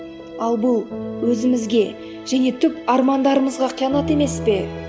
ал бұл өзімізге және түп армандарымызға қиянат емес пе